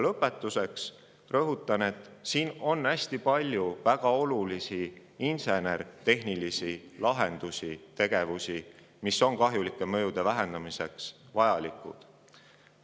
Lõpetuseks rõhutan, et on hästi palju väga olulisi insener-tehnilisi lahendusi ja tegevusi, mis on kliimamuutuste kahjulike mõjude vähendamiseks vajalikud.